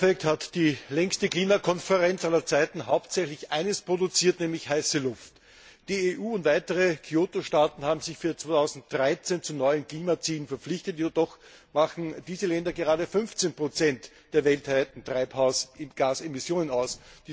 Im Endeffekt hat die längste Klimakonferenz aller Zeiten hauptsächlich eines produziert, nämlich heiße Luft. Die EU und weitere Kyoto Staaten haben sich für 2013 zu neuen Klimazielen verpflichtet, jedoch machen diese Länder gerade 15 der weltweiten Treibhausgasemissionen aus.